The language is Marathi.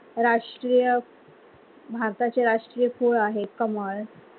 राष्ट्रीय भारताचे राष्ट्रीय फूल आहे कमळ.